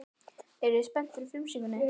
Eruð þið spenntir fyrir frumsýningunni?